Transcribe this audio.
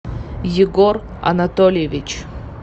егор анатольевич